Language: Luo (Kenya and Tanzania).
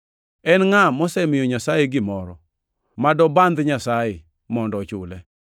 En ngʼa mosemiyo Nyasaye gimoro ma dobandh Nyasaye mondo ochule? + 11:35 \+xt Ayu 41:11\+xt*